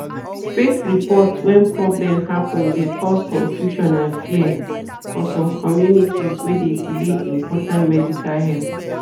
fake report when problem happen de cause confusion and fear for some communities wey de delay important medical help.